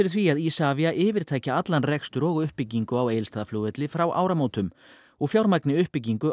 því að ISAVIA yfirtaki allan rekstur og uppbyggingu á Egilsstaðaflugvelli frá áramótum og fjármagni uppbyggingu